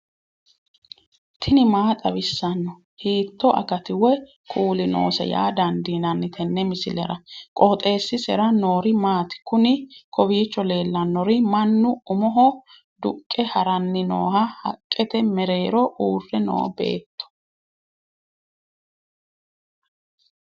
tini maa xawissanno ? hiitto akati woy kuuli noose yaa dandiinanni tenne misilera? qooxeessisera noori maati? kuni kowiicho leellannori mannu umoho duqqe haranni nooha haqqete mereero uurrre noo beetto